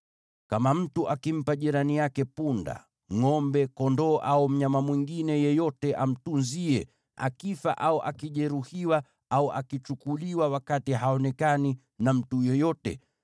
“Kama mtu akimpa jirani yake punda, ngʼombe, kondoo au mnyama mwingine yeyote amtunzie, akifa au akijeruhiwa au akichukuliwa wakati haonekani na mtu yeyote,